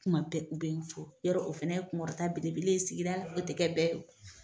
Kuma bɛɛ u bɛ ni fɔ yarɔ o fɛnɛ ye kun kɔrɔ ta belebele ye sigida la o tɛ kɛ bɛɛ ye.